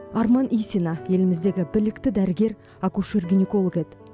арман исина еліміздегі білікті дәрігер акушер гинеколог еді